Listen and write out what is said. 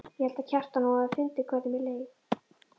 Ég held, Kjartan, að hún hafi fundið hvernig mér leið.